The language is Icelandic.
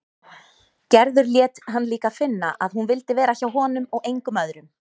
Gerður lét hann líka finna að hún vildi vera hjá honum og engum öðrum.